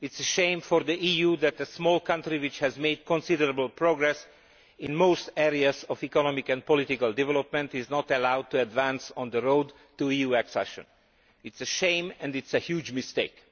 It is a shame for the EU that a small country which has made considerable progress in most areas of economic and political development is not allowed to advance on the road to EU accession. It is a shame and a huge mistake.